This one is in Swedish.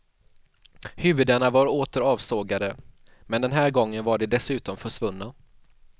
Huvudena var åter avsågade, men den här gången var de dessutom försvunna.